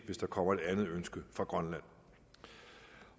hvis der kommer et andet ønske fra grønland